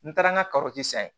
N taara n ka san yen